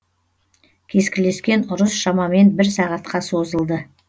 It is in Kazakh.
кескілескен ұрыс шамамен бір сағатқа созылды